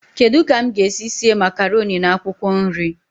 Kedu ka m ga-esi síé makaroni na akwụkwọ nri?